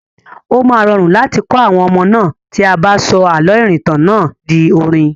Ó máa rọrùn láti kọ àwọn ọmọ náà tí a bá sọ àlọ́ ìrìntàn náà di orin.